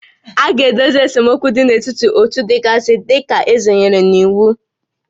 A ga-edozi esemokwu dị n'etiti ótú gasị dị ka eze nyere n'iwu